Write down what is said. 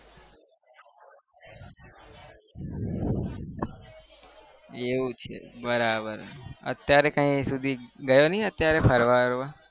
એવું છે બરાબર અત્યારે કઈ સુધી અત્યારે ગયો નહિ અત્યારે ફરવા હરવા?